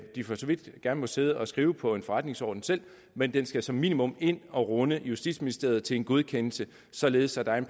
de for så vidt gerne må sidde og skrive på en forretningsorden selv men den skal som minimum ind og runde justitsministeriet til en godkendelse således at der er